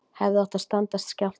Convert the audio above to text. Hefðu átt að standast skjálfta